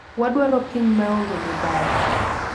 Wadwaro piny ma onge mibadhi.